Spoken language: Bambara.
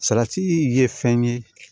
Salati ye fɛn ye